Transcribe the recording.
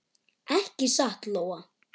Ekki satt, Lóa?